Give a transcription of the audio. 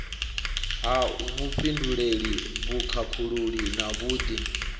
ha vhufhinduleli vhukhakhululi na vhud